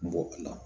Bɔ la